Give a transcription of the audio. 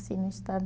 no estado